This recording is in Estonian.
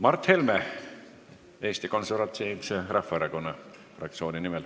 Mart Helme Eesti Konservatiivse Rahvaerakonna fraktsiooni nimel.